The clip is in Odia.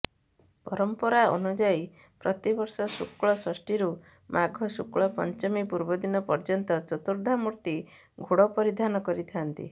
ପରମ୍ପରା ଅନୁଯାୟୀ ପ୍ରତିବର୍ଷ ଶୁକ୍ଳ ଷଷ୍ଠୀରୁ ମାଘ ଶୁକ୍ଳ ପଞ୍ଚମୀ ପୂର୍ବଦିନ ପର୍ୟ୍ୟନ୍ତ ଚତୁର୍ଦ୍ଧାମୂର୍ତ୍ତି ଘୋଡ ପରିଧାନ କରିଥାନ୍ତି